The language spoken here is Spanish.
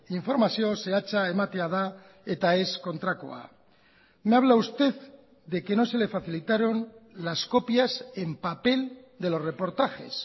informazio zehatza ematea da eta ez kontrakoa me habla usted de que no se le facilitaron las copias en papel de los reportajes